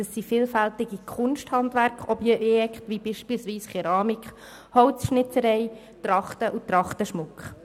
Es handelt sich um vielfältige Kunsthandwerk-Objekte, wie beispielsweise Keramik, Holzschnitzerei, Trachten und Trachtenschmuck.